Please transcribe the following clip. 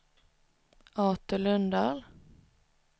Artur Lundahl